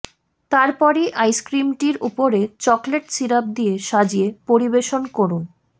তারপরই আইসক্রিমটির উপরে চকলেট সিরাপ দিয়ে সাজিয়ে পরিবেশন করুন